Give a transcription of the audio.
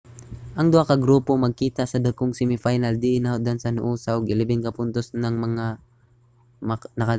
ang duha ka grupo magkita sa dakong semi final diin nahutdan sa noosa ug 11 ka puntos ang mga nakadaug